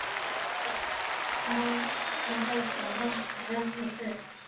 Man að Helga vantar ennþá föt.